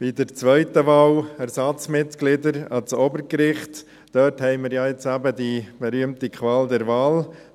Bei der zweiten Wahl, Ersatzmitglieder ans Obergericht, haben wir jetzt eben die berühmte Qual der Wahl.